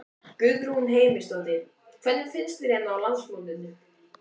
Guðrún Heimisdóttir: Hvernig finnst þér hérna á landsmótinu?